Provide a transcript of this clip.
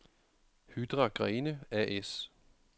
Hydra-Grene A/S